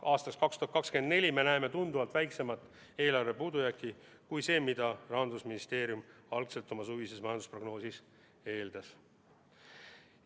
Aastaks 2024 me näeme tunduvalt väiksemat eelarve puudujääki kui see, mida Rahandusministeerium algul oma suvises majandusprognoosis eeldas.